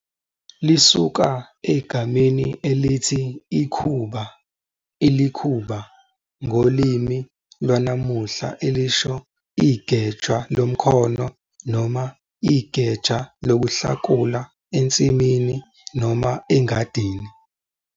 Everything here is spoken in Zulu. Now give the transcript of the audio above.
Lisuka egameni elithi ikhuba, ilikhuba, ngolimi lwanamuhla elisho igeja lomkhono noma igeja lokuhlakula ensimini noma egadini.